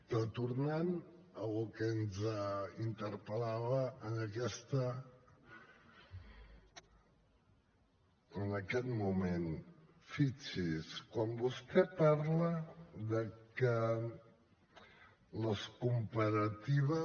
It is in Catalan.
però tornant al que ens interpel·lava en aquest moment fixi’s quan vostè parla que les comparatives